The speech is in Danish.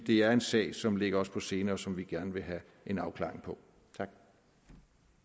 det er en sag som ligger os på sinde og som vi gerne vil have en afklaring på